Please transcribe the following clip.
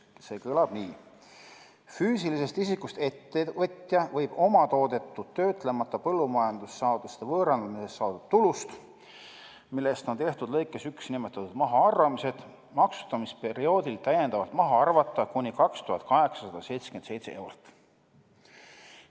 See kõlab nii: füüsilisest isikust ettevõtja võib omatoodetud töötlemata põllumajandussaaduste võõrandamisest saadud tulust, millest on tehtud lõikes 1 nimetatud mahaarvamised, maksustamisperioodil täiendavalt maha arvata kuni 2877 eurot.